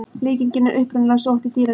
Líkingin er upprunalega sótt í dýraríkið.